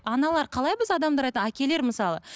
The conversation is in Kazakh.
аналар қалай біз адамдар әкелер мысалы